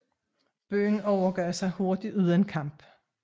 Byen overgav sig hurtigt uden kamp